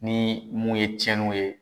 Ni mun ye tiɲɛniw ye